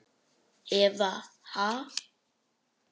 Eva: Ha?